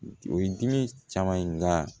O ye dimi caman ye nka